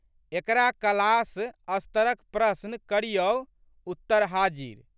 एकरा क्लास स्तरक प्रशन करियौ, उत्तर हाजिर।